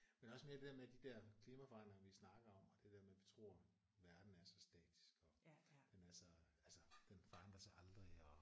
Men også mere det der med de der klimaforandringer vi snakker om og det der med vi tror verden er så statisk og jamen altså altså den forandrer sig aldrig og